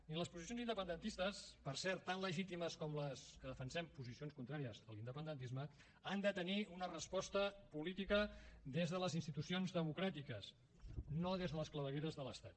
i les posicions independentistes per cert tan legítimes com les que defensem posicions contràries a l’independentisme han de tenir una resposta política des de les institucions democràtiques no des de les clavegueres de l’estat